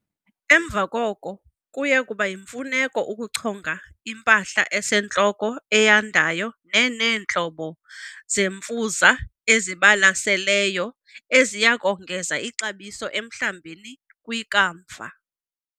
Emva koko, kuya kuba yimfuneko ukuchonga impahla esentloko eyandayo neneentlobo zemfuza ezibalaseleyo eziya kongeza ixabiso emhlambini kwikamva.